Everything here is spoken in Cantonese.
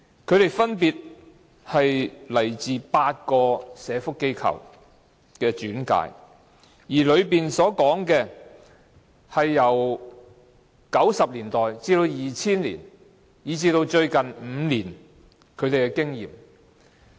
他們分別轉介自8個社福機構，而其中說的是他們由1990年代至2000年，以至最近5年的經驗。